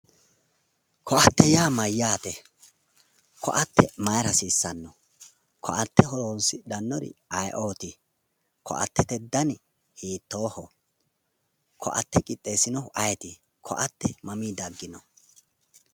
Koa"atte yaa mayyate? Ko"atte mayiira hasiissanno? Ko"atte horonsidhannori aye"oti? Ko"attete dani hiittooho? Ko"atte qixxeessinohu ayeeti? Ko"atte mamii daggino?